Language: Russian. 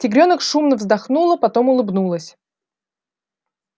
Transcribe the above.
тигрёнок шумно вздохнула потом улыбнулась